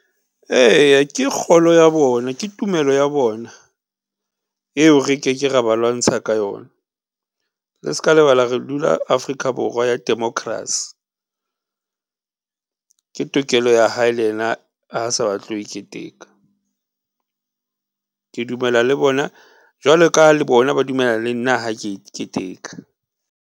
Eya ke kgolo ya bona, ke tumelo ya bona eo re ke ke ra ba lwantsha ka yona le ska lebala re dula Afrika Borwa ya democracy . Ke tokelo ya hae le yena ha a sa batle ho e keteka. Ke dumela le bona jwalo ka ha le bona ba dumela le nna ha ke e keteka.